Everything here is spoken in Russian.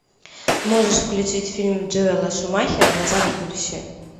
можешь включить фильм джоэла шумахера назад в будущее